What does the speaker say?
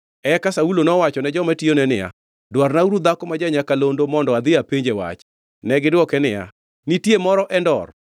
Eka Saulo nowachone joma tiyone niya, “Dwarnauru dhako ma ja-nyakalondo, mondo adhi apenje wach.” Negidwoke niya, “Nitie moro Endor.”